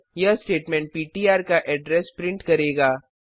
यह स्टेटमेंट पिट्र का एड्रेस प्रिंट करेगा